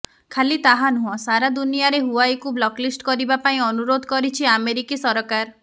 ଖାଲି ତାହା ନୁହଁ ସାରା ଦୁନିଆରେ ହୁୱାଇକୁ ବ୍ଳକଲିଷ୍ଟ କରିବାକୁ ପାଇଁ ଅନୁରୋଧ କରିଛି ଆମେରୀକି ସରକାର